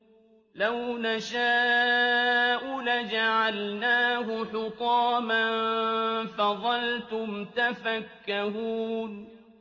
لَوْ نَشَاءُ لَجَعَلْنَاهُ حُطَامًا فَظَلْتُمْ تَفَكَّهُونَ